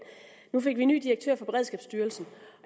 nu fik vi en ny direktør for beredskabsstyrelsen